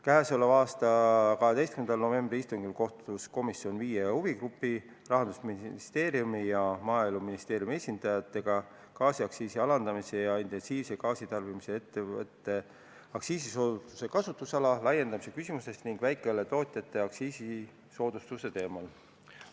12. novembri istungil kohtus komisjon viie huvigrupi, Rahandusministeeriumi ja Maaeluministeeriumi esindajatega, et arutada gaasiaktsiisi alandamise ja intensiivse gaasitarbimisega ettevõtete aktsiisisoodustuse kasutusala laiendamise küsimust ning väikeõlletootjate aktsiisisoodustuste teemat.